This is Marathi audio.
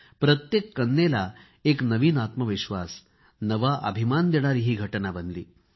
प्रत्येक कन्येला एक नवीन आत्मविश्वास नवा अभिमान निर्माण करणारी ही घटना बनली